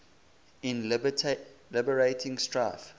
in liberating strife